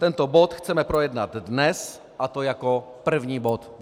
Tento bod chceme projednat dnes, a to jako první bod.